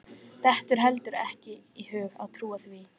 Dettur heldur ekki í hug að trúa því.